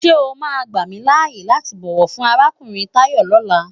Sé è má gbámilâyé láti bòwò fun árákúurin Tayo lòlá?